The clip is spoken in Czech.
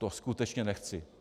To skutečně nechci.